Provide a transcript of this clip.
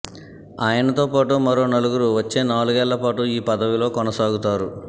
ఆయనతో పాటు మరో నలుగురు వచ్చే నాలుగేళ్ల పాటు ఈ పదవిలో కొనసాగుతారు